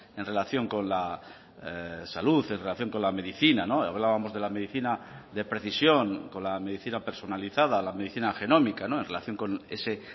en relación con la salud en relación con la medicina hablábamos de la medicina de precisión con la medicina personalizada la medicina genómica en relación con ese